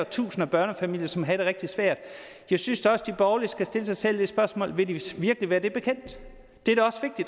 tusind af børnefamilier som havde det rigtig svært jeg synes også de borgerlige skal stille sig selv det spørgsmål vil de virkelig være det bekendt det